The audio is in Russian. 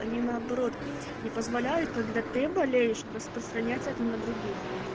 они наоборот не позволяют когда ты болеешь распространять это на других